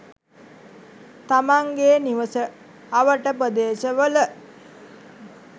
තමන්ගේ නිවස අවට ප්‍රදේශවල